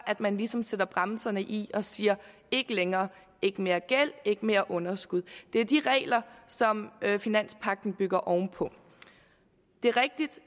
man ligesom sætter bremsen i og siger ikke længere ikke mere gæld ikke mere underskud det er de regler som finanspagten bygger ovenpå det er rigtigt